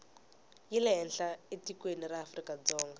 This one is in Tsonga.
yi lehenhla etikweni ra afrikadzonga